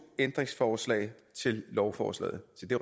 ændringsforslag til lovforslaget se det